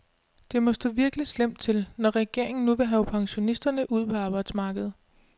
Det må stå virkelig slemt til, når regeringen nu vil have pensionisterne ud på arbejdsmarkedet.